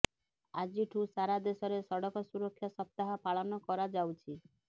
ଆଜିଠୁ ସାରା ଦେଶରେ ସଡକ ସୁରକ୍ଷା ସପ୍ତାହ ପାଳନ କରାଯାଉଛି